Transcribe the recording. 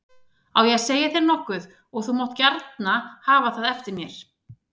Á ég að segja þér nokkuð og þú mátt gjarna hafa það eftir mér.